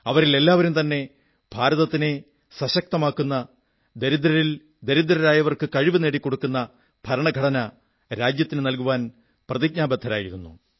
അവരിൽ എല്ലാവരും തന്നെ ഭാരതത്തിനെ സശക്തമാക്കുന്ന ദരിദ്രരിൽ ദരിദ്രരായവർക്ക് കഴിവു നേടിക്കൊടുക്കുന്ന ഭരണഘടന രാജ്യത്തിന് നല്കുവാൻ പ്രതിബദ്ധരായിരുന്നു